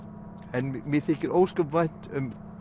en mér þykir ósköp vænt um